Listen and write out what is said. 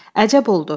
Əcəb oldu.